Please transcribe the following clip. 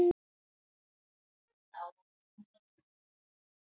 fjarrænn glampi í augnaráðinu.